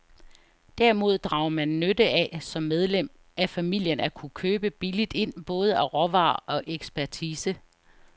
Derimod drager man nytte af som medlem af familien at kunne købe billigt ind både af råvarer og ekspertise.